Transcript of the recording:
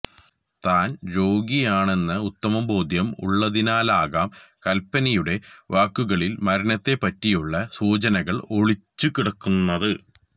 താന് രോഗിയാണെന്ന ഉത്തമ ബോധ്യം ഉള്ളതിനാലാകാം കല്പ്പനയുടെ വാക്കുകളില് മരണത്തെപ്പറ്റിയുള്ള സൂചനകള് ഒളിച്ച് കിടന്നത്